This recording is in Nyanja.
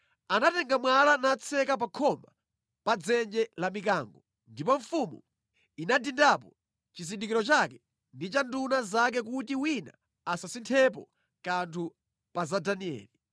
Anatenga mwala natseka pa khoma pa dzenje la mikango, ndipo mfumu inadindapo chizindikiro chake ndi cha nduna zake kuti wina asasinthepo kanthu pa za Danieli.